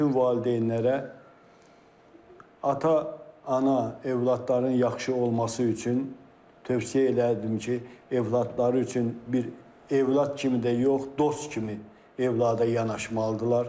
Bütün valideynlərə ata, ana övladların yaxşı olması üçün tövsiyə elədim ki, övladları üçün bir övlad kimi də yox, dost kimi övlada yanaşmalıdırlar.